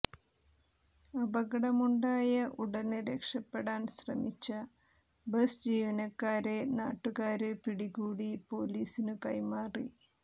അപകടമുണ്ടായ ഉടന് രക്ഷപ്പെടാന് ശ്രമിച്ച ബസ് ജീവനക്കാരെ നാട്ടുകാര് പിടികൂടി പൊലീസിനു കൈമാറി